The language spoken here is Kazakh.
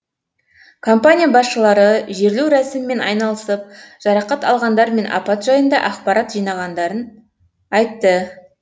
компания басшылары жерлеу рәсімімен айналысып жарақат алғандар мен апат жайында ақпарат жиғандарын айтты